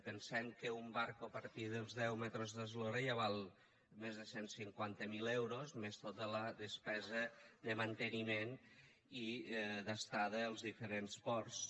pensem que un barco a partir dels deu metres d’eslora ja val més de cent i cinquanta miler euros més tota la despesa de manteniment i d’estada als diferents ports